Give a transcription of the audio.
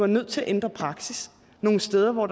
nødt til at ændre praksis nogle steder hvor